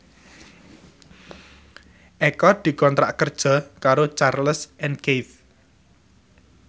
Eko dikontrak kerja karo Charles and Keith